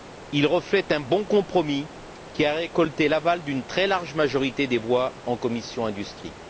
Il reflète un bon compromis, qui a récolté l'aval d'une très large majorité des voix en commission de l'industrie.